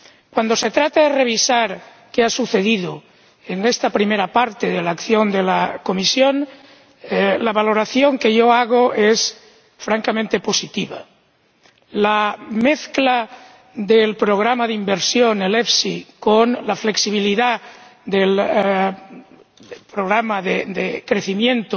Cuando se trata de revisar qué ha sucedido en esta primera parte de la acción de la Comisión, la valoración que yo hago es francamente positiva. La mezcla del programa de inversión, el FEIE, con la flexibilidad del programa de crecimiento